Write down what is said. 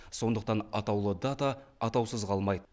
сондықтан атаулы дата атаусыз қалмайды